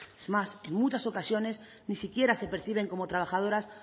es más en muchas ocasiones ni siquiera se perciben como trabajadoras